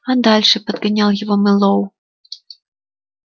а дальше подгонял его мэллоу